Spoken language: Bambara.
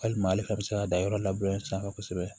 Walima ale fɛnɛ bɛ se ka dan yɔrɔ labure sira fɛ kosɛbɛ